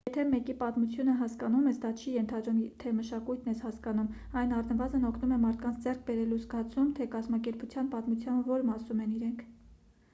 եթե մեկի պատմությունը հասկանում ես դա չի ենթադրում թե մշակույթն ես հասկանում այն առնվազն օգնում է մարդկանց ձեռք բերելու զգացում թե կազմակերպության պատմության որ մասում են իրենք